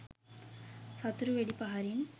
සතුරු වෙඩි පහරින්